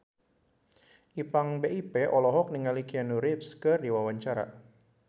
Ipank BIP olohok ningali Keanu Reeves keur diwawancara